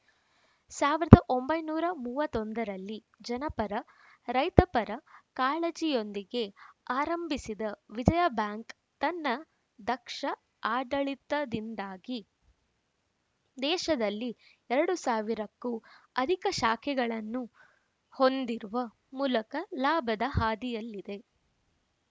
ಸಾವಿರದ ಒಂಬೈನೂರ ಮೂವತ್ತ್ ಒಂದರಲ್ಲಿ ಜನಪರ ರೈತಪರ ಕಾಳಜಿಯೊಂದಿಗೆ ಆರಂಭಿಸಿದ ವಿಜಯ ಬ್ಯಾಂಕ್‌ ತನ್ನ ದಕ್ಷ ಆಡಳಿತದಿಂದಾಗಿ ದೇಶದಲ್ಲಿ ಎರಡು ಸಾವಿರಕ್ಕೂ ಅಧಿಕ ಶಾಖೆಗಳನ್ನು ಹೊಂದಿರುವ ಮೂಲಕ ಲಾಭದ ಹಾದಿಯಲ್ಲಿದೆ